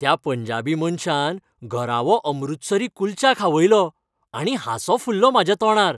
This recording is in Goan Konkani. त्या पंजाबी मनशान घरावो अमृतसरी कुल्चा खावयलो आनी हांसो फुल्लो म्हाज्या तोंडार.